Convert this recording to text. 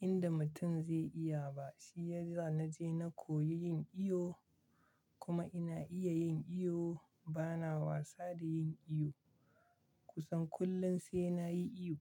inda mutum zai iya ba shiyasa na je na koyi yin iyo kuma ina iya yin iyo bana wasa da yin iyo kusan kullum sai na yi iyo.